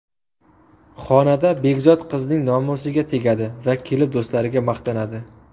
Xonada Begzod qizning nomusiga tegadi va kelib do‘stlariga maqtanadi.